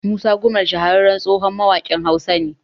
Musa Gumal shahararren tsohon mawaƙin Hausa ne